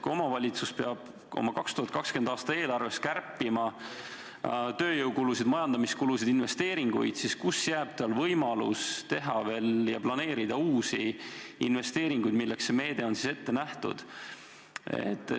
Kui omavalitsus peab oma 2020. aasta eelarves kärpima tööjõukulusid, majandamiskulusid, investeeringuid, siis kuidas jääb talle veel võimalus teha ja planeerida uusi investeeringuid, milleks see meede on ette nähtud?